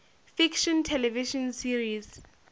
fiction television series